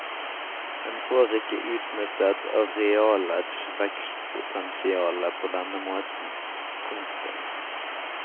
En får ikke utnyttet arealets vekstpotensiale på denne måten. punktum